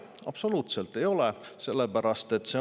Absoluutselt ei ole!